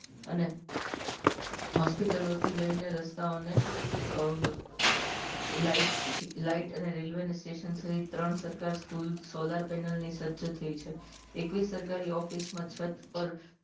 અને hospital ઓ થી લઈને રસ્તાઓ ને અ light light અને રેલ્વે સ્ટેશન સહીત ત્રણ સરકાર સ્કૂલ solar panel ની સજ થઇ છે એકવીશ સરકારી office માં છત પર